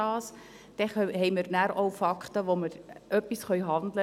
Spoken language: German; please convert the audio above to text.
Dann haben wir auch Fakten und können handeln.